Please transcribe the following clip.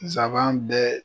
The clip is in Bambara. Saban bɛɛ